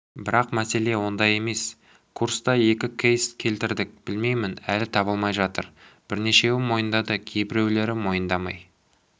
бірақ мәселе онда емес курста екі кейс келтірдік білмеймін әлі табылмай жатыр бірнешеуі мойындады кейбіреулері мойындамай